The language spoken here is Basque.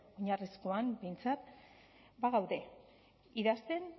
oinarrizkoan behintzat bagaude idazten